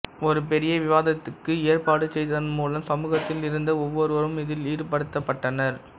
ஒரு பெரிய விவாதத்திற்கு ஏற்பாடு செய்ததன் மூலம் சமூகத்தில் இருந்த ஒவ்வொருவரும் இதில் ஈடுபடுத்தப்பட்டனர்